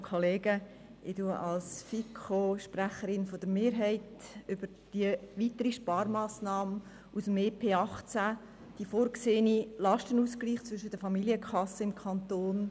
Ich spreche als Sprecherin der FiKo-Mehrheit zu dieser weiteren Sparmassnahme aus dem Entlastungspaket 2018 (EP 18), dem vorgesehenen Lastenausgleich zwischen den Familienkassen im Kanton.